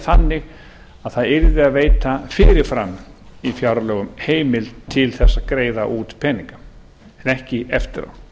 þannig að það yrði að veita fyrir fram í fjárlögum heimild til að greiða út peninga en ekki eftir á